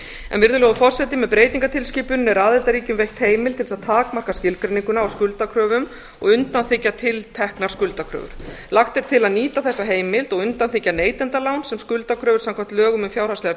skuldakrafna virðulegur forseti með breytingartilskipuninni er aðildarríkjum veitt heimild til þess að takmarka skilgreininguna á skuldakröfum og undanþiggja tilteknar skuldakröfur lagt er til að nýta þessa heimild og undanþiggja neytendalán sem skuldakröfur samkvæmt lögum um fjárhagslegar